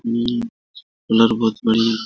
हम्म हुनर बहुत बड़ी --